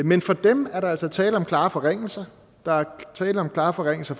men for dem er der altså tale om klare forringelser der er tale om klare forringelser